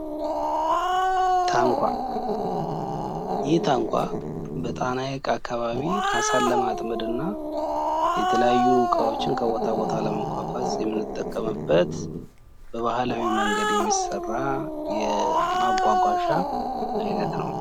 የመጓጓዣ አይነቶች በመሬት፣ በውሃና በአየር የሚከፈሉ ሲሆን እያንዳንዱ የራሱ የሆኑ ተሽከርካሪዎች አሉት።